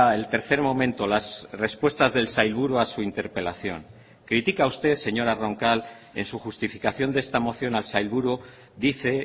el tercer momento las respuestas del sailburu a su interpelación critica usted señora roncal en su justificación de esta moción al sailburu dice